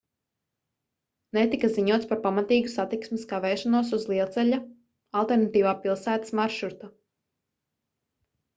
netika ziņots par pamatīgu satiksmes kavēšanos uz lielceļa alternatīvā pilsētas maršruta